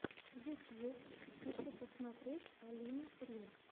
ютьюб хочу посмотреть алину рин